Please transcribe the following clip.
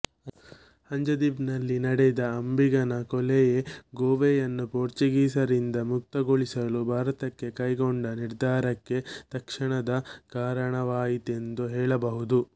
ಅಂಜದೀವ್ನಲ್ಲಿ ನಡೆದ ಅಂಬಿಗನ ಕೊಲೆಯೇ ಗೋವೆಯನ್ನು ಪೋರ್ಚುಗೀಸರಿಂದ ಮುಕ್ತಗೊಳಿಸಲು ಭಾರತ ಕೈಗೊಂಡ ನಿರ್ಧಾರಕ್ಕೆ ತತ್ಕ್ಷಣದ ಕಾರಣವಾಯಿತೆಂದು ಹೇಳಬಹುದು